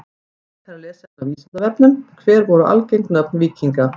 Frekara lesefni á Vísindavefnum: Hver voru algeng nöfn víkinga?